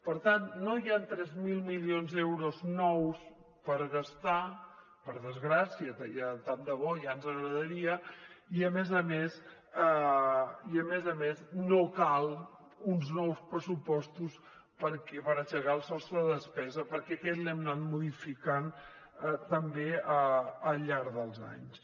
per tant no hi han tres mil milions d’euros nous per gastar per desgràcia que tant de bo ja ens agradaria i a més a més no cal uns nous pressupostos per aixecar el sostre de despesa perquè aquest l’hem anat modificant també al llarg dels anys